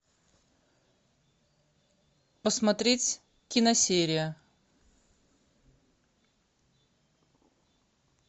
посмотреть киносерия